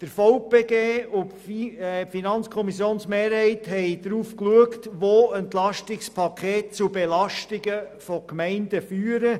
Der Verband Bernischer Gemeinden (VBG) und die FiKo-Mehrheit haben darauf geachtet, wo das EP zu Belastungen von Gemeinden führt.